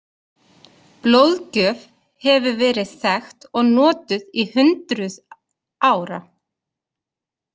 Blóðgjöf hefur verið þekkt og notuð í hundruð ára.